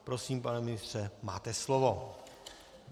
Prosím, pane ministře, máte slovo.